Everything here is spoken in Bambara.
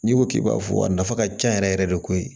N'i ko k'i b'a fɔ a nafa ka ca yɛrɛ yɛrɛ de koyi